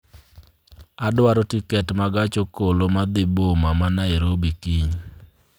Adwaro tiket ma gach okolo ma dhi boma ma Nairobi kiny